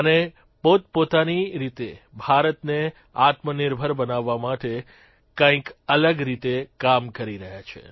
અને પોતપોતાની રીતે ભારતને આત્મનિર્ભર બનાવવા માટે કંઇક અલગ રીતે કામ કરી રહ્યા છે